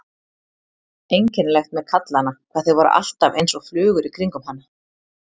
Einkennilegt með kallana hvað þeir voru alltaf einsog flugur í kringum hana.